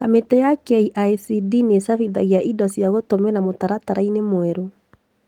Kamĩtĩ ya KICD nĩchabithagia indo cia gũtũmĩra mũtaratara-inĩ mwerũ